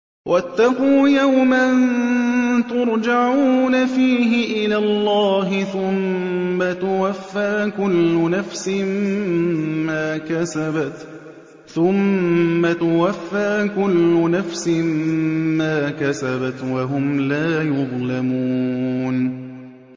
وَاتَّقُوا يَوْمًا تُرْجَعُونَ فِيهِ إِلَى اللَّهِ ۖ ثُمَّ تُوَفَّىٰ كُلُّ نَفْسٍ مَّا كَسَبَتْ وَهُمْ لَا يُظْلَمُونَ